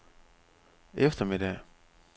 eftermiddag